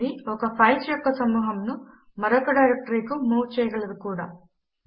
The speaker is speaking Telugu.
ఇది ఒక ఫైల్స్ యొక్క సమూహమును మరొక డైరెక్టరీకు మూవ్ చేయగలదు కూడా